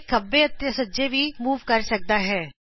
ਇਹ ਖੱਬੇ ਅਤੇ ਸੱਜੇ ਵੀ ਮੂਵ ਕਰ ਸਕਦਾ ਹੈ